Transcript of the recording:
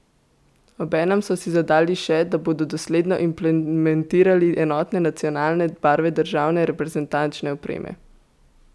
Obenem so si zadali še, da bodo dosledno implementirali enotne nacionalne barve državne reprezentančne opreme.